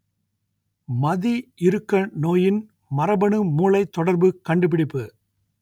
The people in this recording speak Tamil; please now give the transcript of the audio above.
மதி இறுக்க நோயின் மரபணு மூளைத் தொடர்பு கண்டுபிடிப்பு